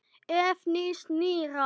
Ef. nýs- nýrra